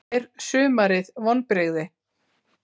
Er sumarið vonbrigði?